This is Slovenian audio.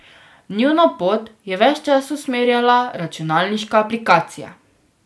Njuno pot je ves čas usmerjala računalniška aplikacija.